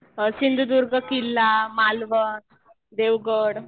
सिंधुदुर्ग किल्ला, मालवण, देवगड.